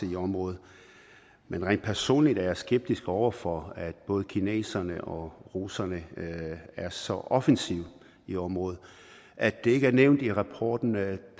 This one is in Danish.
i området men rent personligt er jeg skeptisk over for at både kineserne og russerne er så offensive i området at det ikke er nævnt i rapporten